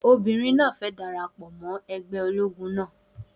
Obìnrin náà fẹ dara pọ mó ẹgbẹ́ ológun náà